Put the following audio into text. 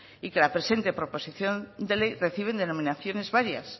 y que la presente proposición de ley reciben denominaciones varias